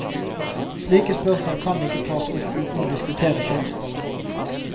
Slike spørsmål kan ikke tas opp uten å diskutere kjønnsroller.